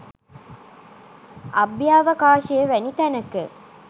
අභ්‍යවකාශය වැනි තැනක